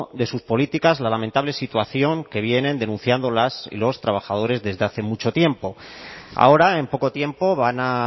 de sus políticas la lamentable situación que vienen denunciando las y los trabajadores desde hace mucho tiempo ahora en poco tiempo van a